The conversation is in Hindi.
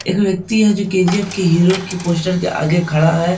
एक व्यक्ति है जो के.जी.एफ. के हीरो के पोस्टर के आगे खड़ा है।